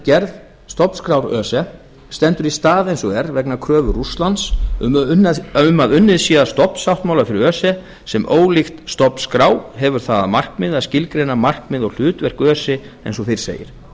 gerð stofnskrár öse stendur í stað eins og er vegna kröfu rússlands um að unnið sé að stofnsáttmála fyrir öse sem ólíkt stofnskrá hefur það að markmiði að skilgreina markmið og hlutverk öse eins og fyrr segir